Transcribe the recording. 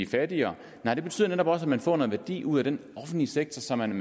fattigere nej det betyder nemlig også at man får noget værdi ud af den offentlige sektor som man